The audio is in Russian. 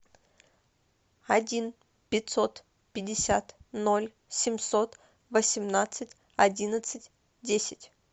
один пятьсот пятьдесят ноль семьсот восемнадцать одиннадцать десять